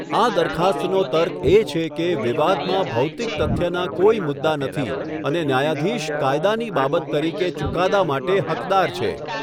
આ દરખાસ્તનો તર્ક એ છે કે વિવાદમાં ભૌતિક તથ્યના કોઈ મુદ્દા નથી અને ન્યાયાધીશ કાયદાની બાબત તરીકે ચુકાદા માટે હકદાર છે.